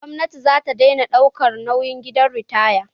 Gwamnati za ta dena ɗaukan nauyin gidan ritaya